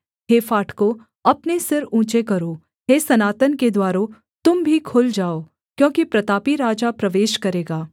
हे फाटकों अपने सिर ऊँचे करो हे सनातन के द्वारों तुम भी खुल जाओ क्योंकि प्रतापी राजा प्रवेश करेगा